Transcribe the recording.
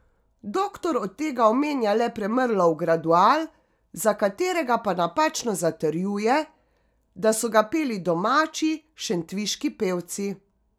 Doktor od tega omenja le Premrlov Gradual, za katerega pa napačno zatrjuje, da so ga peli domači, šentviški pevci.